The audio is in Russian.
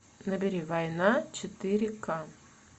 набери война четыре ка